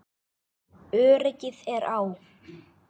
Öryggið er á.